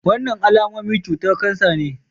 Wannan alamomin cutar kansa ne.